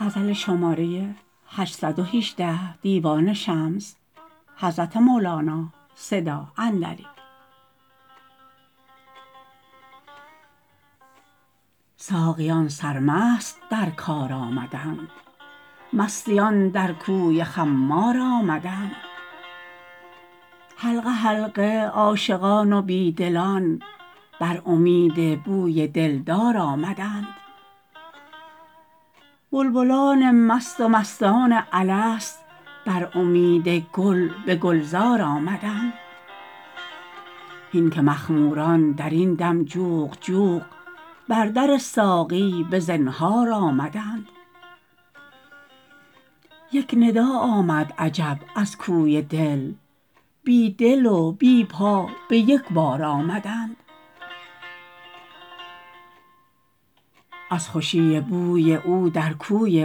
ساقیان سرمست در کار آمدند مستیان در کوی خمار آمدند حلقه حلقه عاشقان و بی دلان بر امید بوی دلدار آمدند بلبلان مست و مستان الست بر امید گل به گلزار آمدند هین که مخموران در این دم جوق جوق بر در ساقی به زنهار آمدند یک ندا آمد عجب از کوی دل بی دل و بی پا به یک بار آمدند از خوشی بوی او در کوی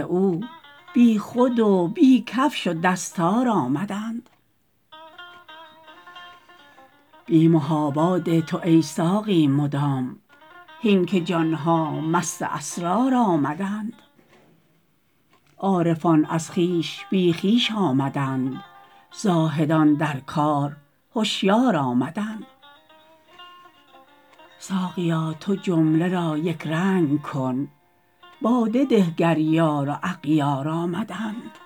او بیخود و بی کفش و دستار آمدند بی محابا ده تو ای ساقی مدام هین که جان ها مست اسرار آمدند عارفان از خویش بی خویش آمدند زاهدان در کار هشیار آمدند ساقیا تو جمله را یک رنگ کن باده ده گر یار و اغیار آمدند